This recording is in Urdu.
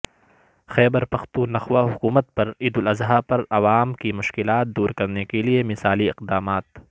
خیبر پختونخوا حکومت پر عید الاضحی پر عوام کی مشکلات دور کرنے کےلئے مثالی اقدامات